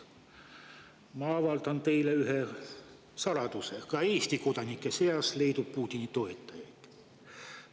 Ma avaldan teile ühe saladuse: ka Eesti kodanike seas leidub Putini toetajaid.